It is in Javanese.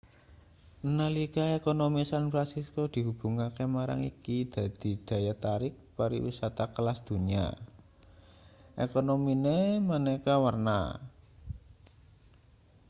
nalika ekonomi san fransisko dihubungke marang iki dadi daya tarik pariwisata kelas donya ekonomine maneka-warna